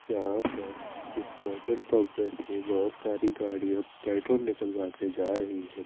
जहा पर इस पेट्रोल पंप में से बोहोत साड़ी गाडिया पेट्रोल निकलवा कर जा रही है।